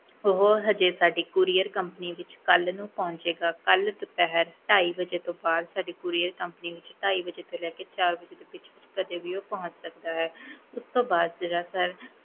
ਉਹ ਹਜੇ ਸਾਡੀ courier company ਵਿੱਚ ਕੱਲ੍ਹ ਨੂੰ ਪਹੁੰਚੇਗਾ, ਕੱਲ੍ਹ ਦੁਪਿਹਰ ਢਾਈ ਵਜੇ ਤੋਂ ਬਾਅਦ ਸਾਡੀ courier company ਵਿੱਚ ਢਾਈ ਵਜੇ ਤੋਂ ਲੈ ਕੇ ਚਾਰ ਵਜੇ ਵਿੱਚ ਵਿੱਚ ਕਦੇ ਵੀ ਉਹ ਪਹੁੰਚ ਸਕਦਾ ਹੈ ਉਸ ਤੋਂ ਬਾਅਦ ਜਿਹੜਾ sir